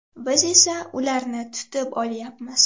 Biz esa ularni tutib olyapmiz.